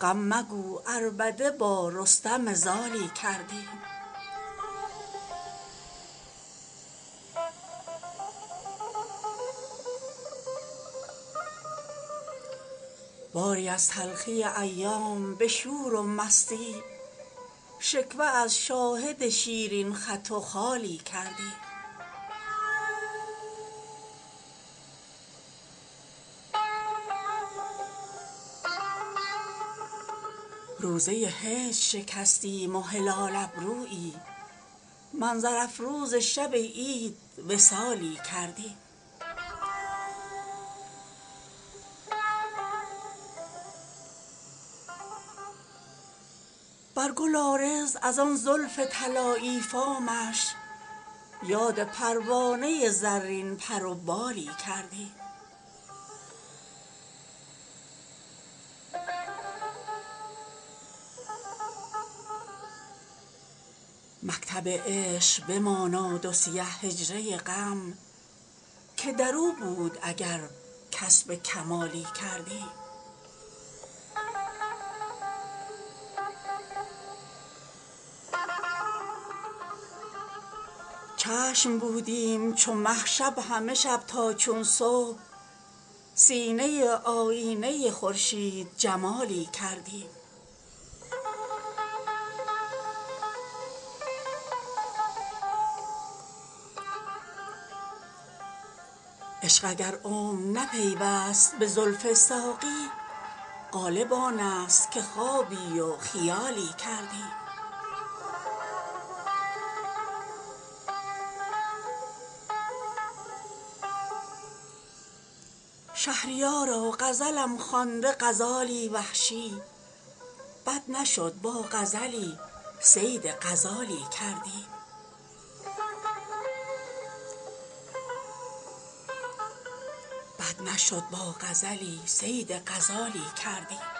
غم مگو عربده با رستم زالی کردیم باری از تلخی ایام به شور و مستی شکوه از شاهد شیرین خط و خالی کردیم نیمی از رخ بنمود و خمی از ابرویی وسط ماه تماشای هلالی کردیم روزه هجر شکستیم و هلال ابرویی منظر افروز شب عید وصالی کردیم بر گل عارض از آن زلف طلایی فامش یاد پروانه زرین پر و بالی کردیم مکتب عشق بماناد و سیه حجره غم که در او بود اگر کسب کمالی کردیم چشم بودیم چو مه شب همه شب تا چون صبح سینه آیینه خورشید جمالی کردیم عشق اگر عمر نه پیوست به زلف ساقی غالب آنست که خوابی و خیالی کردیم شهریارا غزلم خوانده غزالی وحشی بد نشد با غزلی صید غزالی کردیم